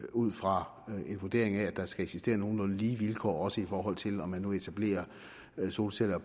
ud fra en vurdering af at der skal eksistere nogenlunde lige vilkår også i forhold til om man nu etablerer solceller